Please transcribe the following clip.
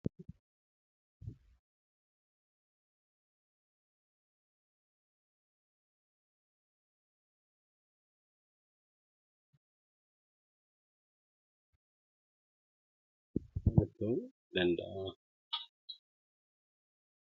Gabaan bakka itti wal argaa namoota waa gurguranii fi walirra bitan yemmuu ta'u, kanneen gurguramanii fi bitaman immoo, beeyiladoota, biqiloota, meeshaalee mana keessaa, akkasuma illee meeshaalee manaan alaa ta'uu danda'a.